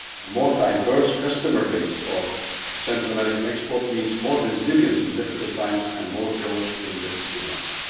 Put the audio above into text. A more diverse customer base' for Central American exports means more resilience in difficult times and more growth in good times.